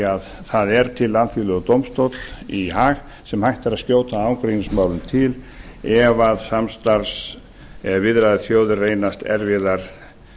að það er til alþjóðlegur dómstóll í haag sem hægt er að skjóta ágreiningsmálum til ef samstarfs og viðræðuþjóðir reynast erfiðar